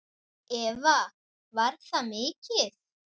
Eva: Var það mikið?